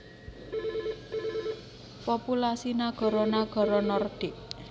Populasi nagara nagara Nordik